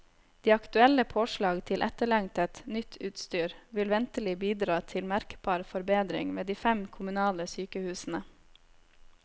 De aktuelle påslag til etterlengtet, nytt utstyr vil ventelig bidra til merkbar forbedring ved de fem kommunale sykehusene.